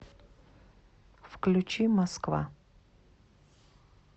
включи москва